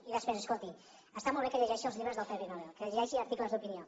i després escolti’m està molt bé que llegeixi els llibres del premi nobel que llegeixi articles d’opinió